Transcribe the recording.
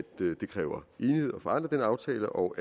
det kræver enighed at forandre den aftale og